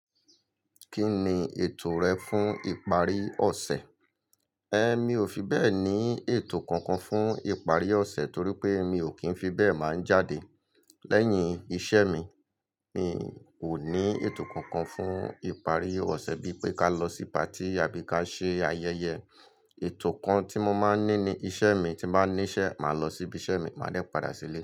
Kí ni ètò rẹ fún ìparí ọ̀sẹ̀? Ẹ̀, mi ò fi bẹ́ẹ̀ ní ètò kankan fún ìparí ọ̀sẹ̀ torí pé mi ò kí ń fi bẹ́ẹ̀ máa ń jáde. Lẹ́yìn iṣẹ́ mi, mi ò ní ètò kankan fún ìparí ọ̀sẹ̀ bí pé ká lọ sí patí àbí ká ṣe ayẹyẹ. Ètò kan tí mo máa ń ní ni iṣẹ́ mi, tí bá níṣẹ́, màá lọ síbí iṣẹ́ mi, màá dẹ́ padà sílé.